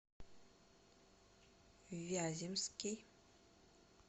вяземский